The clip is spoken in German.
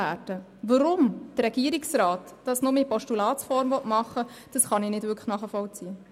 Weshalb der Regierungsrat, den Vorstoss nur in Postulatsform entgegennehmen will, kann ich nicht nachvollziehen.